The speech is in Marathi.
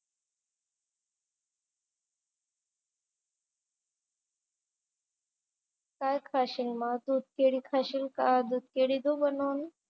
काय खाशील मग? दूध केळी खाशील का? दूध केळी देऊ बनवून?